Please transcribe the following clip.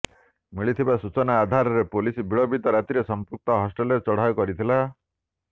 ମିଳିଥିବା ସୂଚନା ଆଧାରରେ ପୋଲିସ ବିଳମ୍ବିତ ରାତିରେ ସଂପୃକ୍ତ ହଷ୍ଟେଲରେ ଚଢାଉ କରିଥିଲା